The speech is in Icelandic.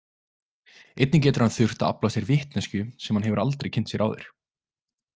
Einnig getur hann þurft að afla sér vitneskju sem hann hefur aldrei kynnt sér áður.